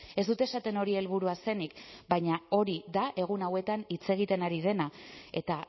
ez dut esaten hori helburua zenik baina hori da egun hauetan hitz egiten ari dena eta